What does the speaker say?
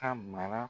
Ka mara